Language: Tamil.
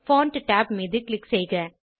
பான்ட் tab மீது க்ளிக் செய்க